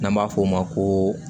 N'an b'a f'o ma ko